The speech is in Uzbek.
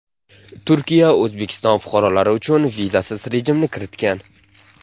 Turkiya O‘zbekiston fuqarolari uchun vizasiz rejimni kiritgan.